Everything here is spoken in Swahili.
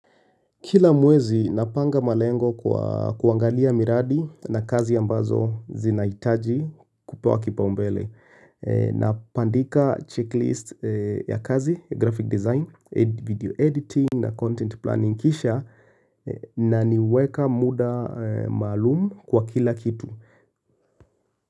Kila mwezi napanga malengo kwa kuangalia miradi na kazi ambazo zinahitaji kupewa kipa umbele Napandika checklist ya kazi, graphic design, video editing na content planning kisha na niweka muda maalum kwa kila kitu.